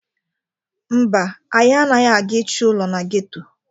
Mba, anyị anaghị aga ịchọ ụlọ na geto.